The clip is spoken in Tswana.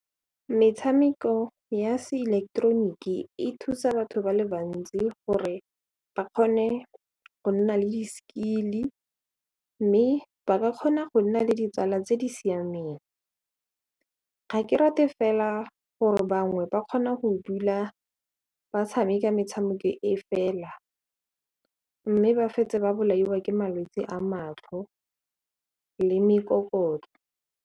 Metshameko ya seileketeroniki e thusa batho ba le bantsi gore ba kgone go nna le di-skill-i mme ba ka kgona go nna le ditsala tse di siameng, ga ke rate fela gore bangwe ba kgona go dula ba tshameka metshameko e fela mme ba fetsa ba bolaiwa ke malwetsi a matlho le mekokotlo.